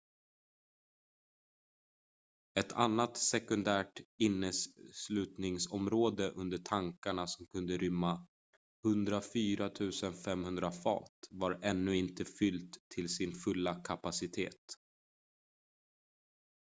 ett annat sekundärt inneslutningsområde under tankarna som kunde rymma 104 500 fat var ännu inte fyllt till sin fulla kapacitet